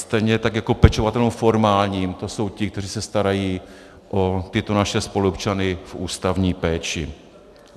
Stejně tak jako pečovatelům formálním, to jsou ti, kteří se starají o tyto naše spoluobčany v ústavní péči.